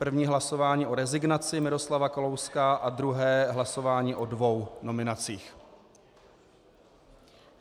První hlasování o rezignaci Miroslava Kalouska a druhé hlasování o dvou nominacích.